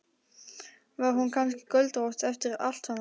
Var hún kannski göldrótt eftir allt saman?